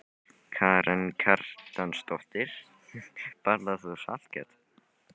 Karen Kjartansdóttir: Borðar þú saltkjöt?